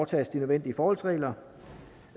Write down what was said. tages de nødvendige forholdsregler